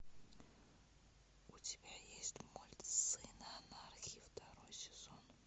у тебя есть мульт сын анархии второй сезон